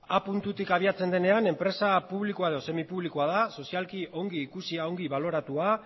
a puntutik abiatzen denean enpresa publikoa edo semipublikoa da sozialki ongi ikusia ongi baloratua